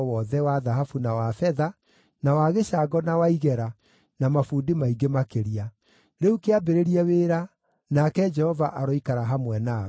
wa thahabu na wa betha, na wa gĩcango na wa igera, na mabundi maingĩ makĩria. Rĩu kĩambĩrĩrie wĩra, nake Jehova aroikara hamwe nawe.”